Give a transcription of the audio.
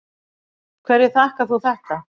Hverju þakkar þú þetta?